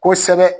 Kosɛbɛ